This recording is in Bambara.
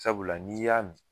Sabula n'i y'a min.